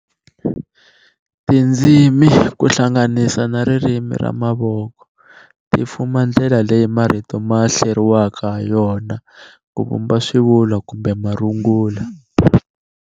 Tindzimi kuhlanganisa na ririmi ra mavoko, ti fuma ndlela leyi marito ma hleriwaka hayona kuvumba swivulwa kumbe marungula.